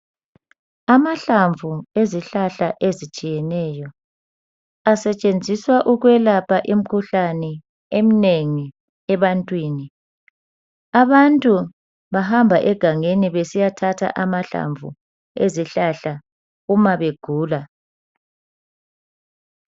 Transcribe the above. Amahlamvu ezihlahla ezitshiyeneyo asetshenziswa ukwelapha imkhuhlane emnengi ebantwini . Abantu bahamba egangeni besiyathatha amahlamvu ezihlahla uma begula .